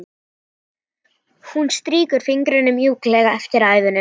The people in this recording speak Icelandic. Hún strýkur fingrunum mjúklega eftir æðunum.